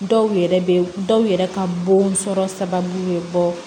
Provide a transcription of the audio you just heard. Dɔw yɛrɛ be dɔw yɛrɛ ka bon sɔrɔ sababu be bɔ